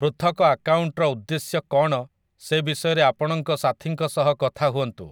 ପୃଥକ ଆକାଉଣ୍ଟର ଉଦ୍ଦେଶ୍ୟ କ'ଣ ସେ ବିଷୟରେ ଆପଣଙ୍କ ସାଥୀଙ୍କ ସହ କଥା ହୁଅନ୍ତୁ ।